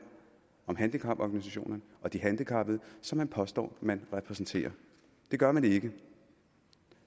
om handicaporganisationerne og de handicappede som man påstår man repræsenterer det gør man ikke